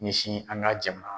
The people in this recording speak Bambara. Misi an ka jamana